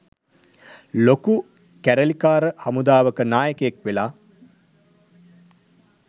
ලොකු කැරලිකාර හමුදාවක නායකයෙක් වෙලා.